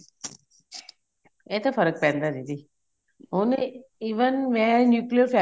ਇਹ ਤਾਂ ਫਰਕ ਪੈਂਦਾ ਦੀਦੀ ਹੁਣ even ਮੈਂ nuclear family